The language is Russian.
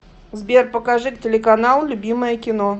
сбер покажи телеканал любимое кино